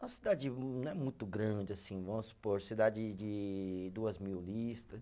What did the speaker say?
Uma cidade não é muito grande, assim, vamos supor, cidade de duas mil lista.